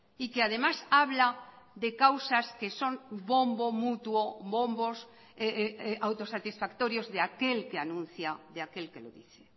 y que además habla de causas que son bombo mutuo bombos autosatisfactorios de aquel que anuncia de aquel que lo dice